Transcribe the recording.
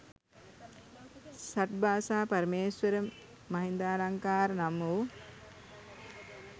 ෂට් භාෂා පරමේශ්වර මහින්දාලංකාර නම් වූ